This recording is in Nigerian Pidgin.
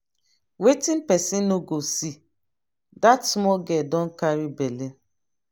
wetin person no go see! dat small girl don carry bele.